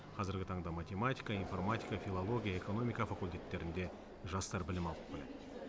қазіргі таңда математика информатика филология экономика факультеттерінде жастар білім алып келеді